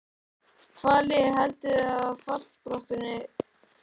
Hvaða lið heldurðu að verði í fallbaráttunni?